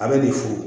A bɛ nin fu